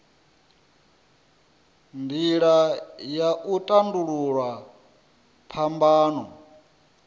nila ya u tandululwa phambano